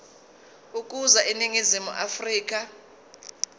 ukuza eningizimu afrika